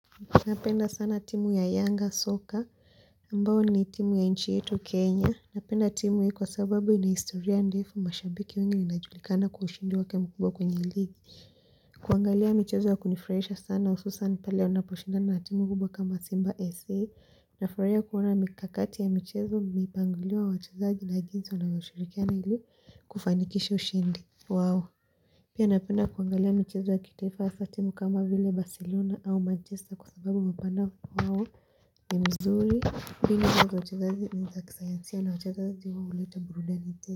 Napenda sana timu ya Yanga soka, ambao ni timu ya nchi yetu Kenya, napenda timu hii kwa sababu inahistoria ndefu mashabiki wengi inajulikana kwa ushindi wake mkubwa kwenye ligi. Kuangalia michezo yakunifurahisha sana, hususani pale wanaposhindana na timu kubwa kama Simba SA, nafurahia kuona mikakati ya michezo mipangilio ya wachezaji na jinsi wanavyoshirikiana ili kufanikisha ushindi. Wao pia napenda kuangalia michezo ya kitaifa hasa timu kama vile Baselona au Manchesta kwasababu mpana wao ni mzuri bini mwazo chagazi minta kisayansia na chagazi wanguleta burudanite.